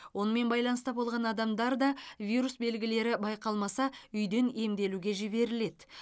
онымен байланыста болған адамдар да вирус белгілері байқалмаса үйден емделуге жіберіледі